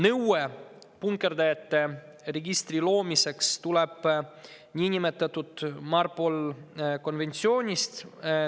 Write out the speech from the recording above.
Nõue punkerdajate registri loomiseks tuleb niinimetatud MARPOL-i konventsioonist.